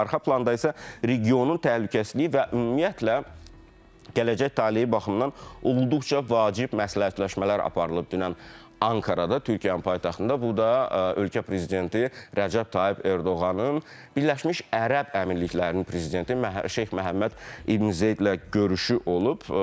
Arxa planda isə regionun təhlükəsizliyi və ümumiyyətlə gələcək taleyi baxımından olduqca vacib məsləhətləşmələr aparılıb dünən Ankarada Türkiyənin paytaxtında, bu da ölkə prezidenti Rəcəb Tayyib Ərdoğanın Birləşmiş Ərəb Əmirliklərinin prezidenti Şeyx Məhəmməd İbn Zeydlə görüşü olub.